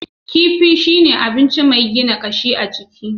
Kifi shine abinci mai gina kashi a jiki.